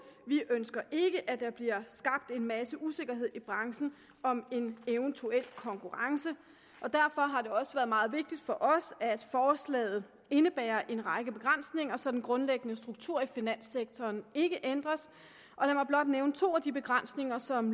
vi ønsker ikke at der bliver skabt en masse usikkerhed i branchen om en eventuel konkurrence og derfor har det også været meget vigtigt for os at forslaget indebærer en række begrænsninger så den grundlæggende struktur i finanssektoren ikke ændres lad mig blot nævne to af de begrænsninger som